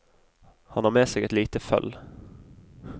Han har med seg et lite føll.